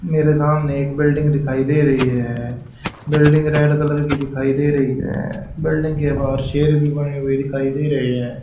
मेरे सामने एक बिल्डिंग दिखाई दे रही है बिल्डिंग रेड कलर की दिखाई दे रही है बिल्डिंग के बाहर शेर भी बने हुए दिखाई दे रहे हैं।